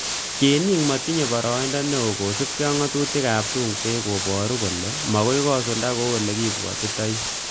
Tienik matinyei boroindo neo kosubkei ak ngatutikab tungwek koboru kole makoi kosulda kou olekibwotchindoi